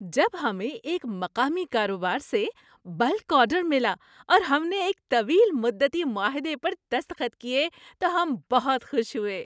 جب ہمیں ایک مقامی کاروبار سے بلک آرڈر ملا اور ہم نے ایک طویل مدتی معاہدے پر دستخط کیے تو ہم بہت خوش ہوئے۔